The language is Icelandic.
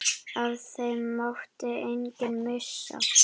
Af þeim mátti enginn missa.